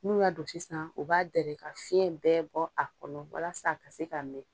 N'u y'a don sisan u b'a dɛrɛ walasa ka fiɲɛ bɛɛ bɔ a kɔnɔ walasa a ka se ka mɛn.